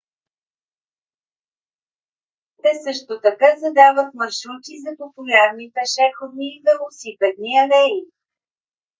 те също така задават маршрути за популярни пешеходни и велосипедни алеи